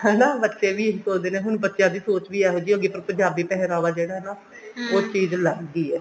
ਹਨਾ ਬੱਚੇ ਵੀ ਇਹੀ ਸੋਚਦੇ ਨੇ ਹੁਣ ਬੱਚਿਆ ਦੀ ਸੋਚ ਵੀ ਇਹੋ ਜਿਹੀ ਹੋ ਗਈ ਪਰ ਪੰਜਾਬੀ ਪਹਿਰਾਵਾ ਜਿਹੜਾ ਹੈ ਨਾ ਉਹ ਚੀਜ਼ ਅਲੱਗ ਹੀ ਹੈ